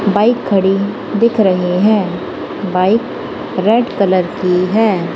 Bike खड़ी दिख रही है। बाइक रेड कलर की है।